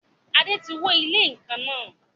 Adé tí wó ilé ikán náà.